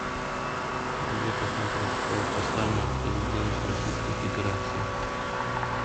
где посмотреть послание президента российской федерации